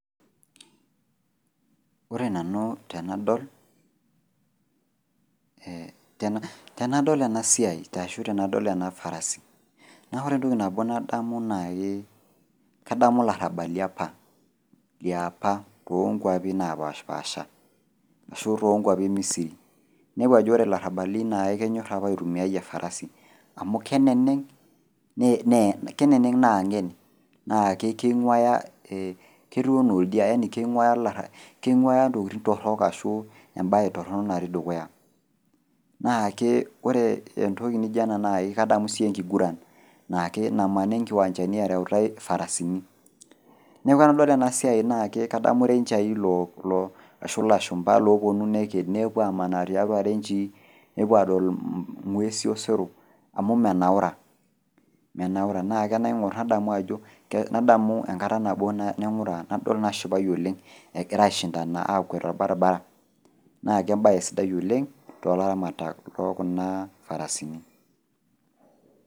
Ore nanu tenadol, eh tenadol enasiai ashu tenadol ena farasi naa ore entoki nabo nabo nadamu nai kadamu larrabali apa liapa toonkuapi napashpaasha ashu tonkuapi emisiri. Ninepu ajo ore larrabali naake kenyorr apa aitumiai efarasi amu keneneng' nee, keneneng' naa ng'en naake keing'uaya, ketuu nooldia yani keing'uaya olarra, keing'uaya ntokitin torrok ashu embaye torrono natii dukuya. Naakee ore entoki nijo ena nai kadamu sii enkiguran naake namani nkiwanjani ereutai farasini. Neaku enadol enasiai naake kadamu renchai loo, ashu lashumba loopuonu neked nepuo amanaa tiatua renchii nepuo adol ng'uesi osero amu menaura, meanura nake enaing'orr nadamu ajo , nadamu enkata nabo naing'ura nadol nashipayu oleng egiraaishindana akwet tolbarabara naake embaye sidai oleng' toolaramatak lookunaa farasini.